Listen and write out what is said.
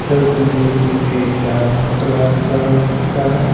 तस्वीर किसी dance class का हो सकता है।